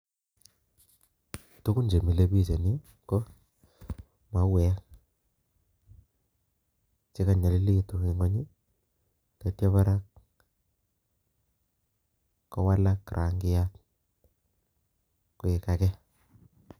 Tugun che milei biich eng' yuu ko mauek che kanyalilitu eng' nguny, tatia barak kowalak rangiat koek age